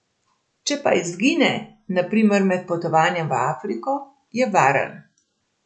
Če pa izgine, na primer med potovanjem v Afriko, je varen.